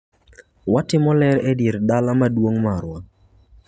Watimo ler e dier dala maduong marwa.